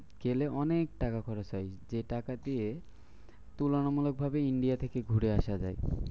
গেলে অনেক টাকা খরচ হয়। যে টাকা দিয়ে তুলনামূলকভাবে India থেকে ঘুরে আসা যায়।